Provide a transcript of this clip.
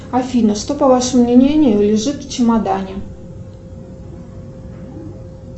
афина что по вашему мнению лежит в чемодане